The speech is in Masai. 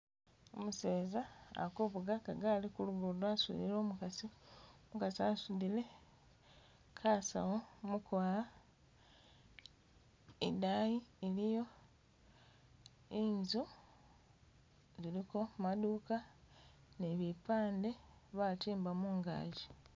Umuseza ali kuvuga kagali kulugudo asudile umukasi umukasi asudile kasawu mukwawa idayi iliyo inzu ziliko maduuka ni bipande batimba mungagi.